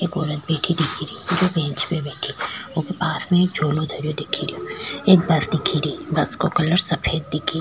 एक औरत बैठी दिखे री जो बेंच पे बैठी ऊके पास में एक झोलो धरयो दिखे रो एक बस दिखे री बस को कलर सफ़ेद दिखे --